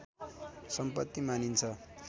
सम्पत्ति मानिन्छ